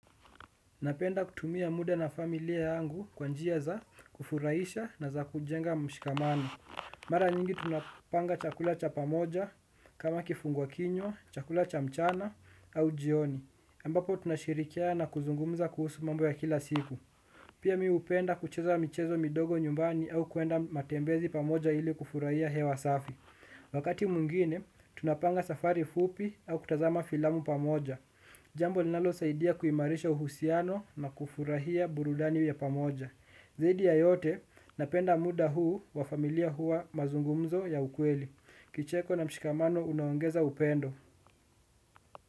Napenda kutumia muda na familia yangu kwa njia za kufuraisha na za kujenga mshikamano. Mara nyingi tunapanga chakula cha pamoja kama kifungua kinywa, chakula cha mchana au jioni. Ambapo tunashirikiana na kuzungumza kuhusu mambo ya kila siku. Pia mimu hupenda kucheza michezo midogo nyumbani au kuenda matembezi pamoja ili kufuraia hewa safi. Wakati mungine, tunapanga safari fupi au kutazama filamu pamoja. Jambo linalosaidia kuimarisha uhusiano na kufurahia burudani ya pamoja. Zaidi ya yote napenda muda huu wa familia huwa mazungumzo ya ukweli. Kicheko na mshikamano unaongeza upendo.